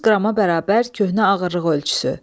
400 qrama bərabər köhnə ağırlıq ölçüsü.